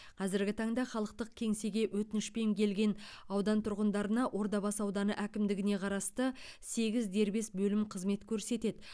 қазіргі таңда халықтық кеңсеге өтінішпен келген аудан тұрғындарына ордабасы ауданы әкімдігіне қарасты сегіз дербес бөлім қызмет көрсетеді